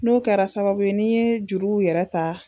N'o kɛra sababu ye n'i n juruw yɛrɛ ta